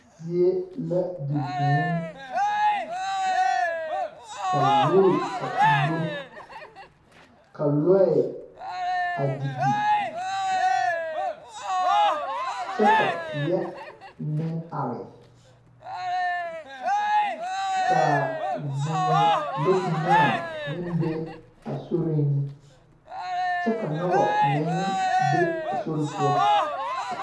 Zie la di vũũ ka zoore a uuro ka lɔɛ a didi kyɛ ka teɛ meŋ are ka vũũ lɔkpinaa meŋ be a soriŋ kyɛ ka noba meŋ be a sori poɔ.